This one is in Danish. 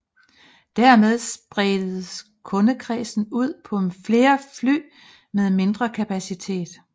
Dermed spredes kundekredsen ud på flere fly med mindre kapacitet